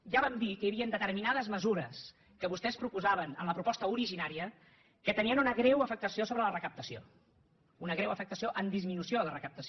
ja vam dir que hi havien determinades mesures que vostès proposaven en la proposta originària que tenien una greu afectació sobre la recaptació una greu afectació amb disminució de recaptació